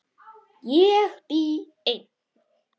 Ég bý ein.